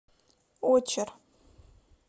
очер